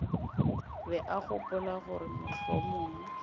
be a gopola gore mohlomong